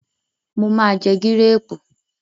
Mo ma jẹ gírèrù.